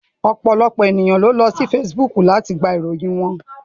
Ọ̀pọ̀lọpọ̀ èèyàn ló ń lọ sí Facebook láti gba ìròyìn wọn